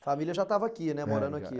A família já estava aqui, né, morando aqui, né?